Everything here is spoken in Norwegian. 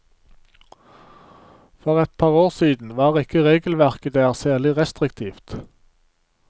For et par år siden var ikke regelverket der særlig restriktivt.